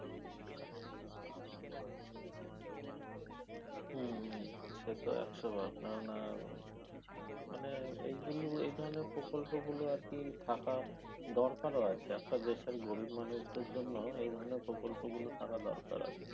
হম সে তো একশবার কারন এর মানে এইগুলো এই ধরনের প্রকল্পগুলো আরকি থাকা দরকারও আছে একটা দেশের গরীব মানুষদের জন্য এ ধরনের প্রকল্পগুলো থাকার দরকার আছে